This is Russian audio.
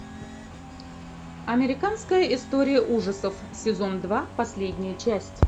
американская история ужасов сезон два последняя часть